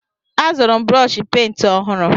Azụrụ m brọshi pent ọhụrụ.